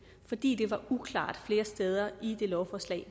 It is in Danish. fordi det var uklart flere steder i lovforslaget